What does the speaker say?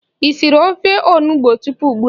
Ị siri ofe onugbo tupu ugbua?